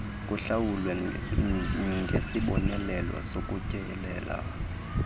kuhlawulwa ngesibonelelo sokutyelela